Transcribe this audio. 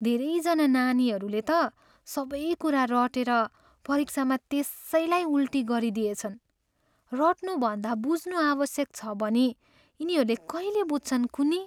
धेरैजना नानीहरूले त सबै कुरा रटेर परीक्षामा त्यसैलाई उल्टी गरिदिएछन्। रट्नु भन्दा बुझ्नु आवश्यक छ भनी यिनीहरूले कहिले बुझ्छन् कुन्नी?